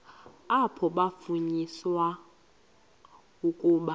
apho kwafunyaniswa ukuba